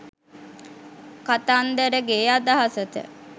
කතන්දරගෙ අදහසට